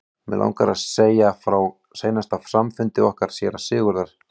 Mig langar til að segja frá seinasta samfundi okkar séra Sigurðar.